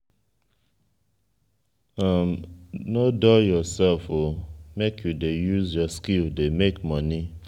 nor dull yoursef o make you dey use your skill dey make moni.